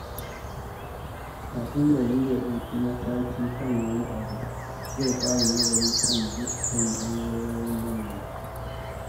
Kafin Kabiru ya dauki mataki kan wani abu, zai fara nazari kan dukkan bangarorin lamarin.